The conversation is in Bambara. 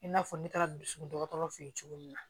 I n'a fɔ ne taara dusukun dɔgɔtɔrɔ fɛ ye cogo min na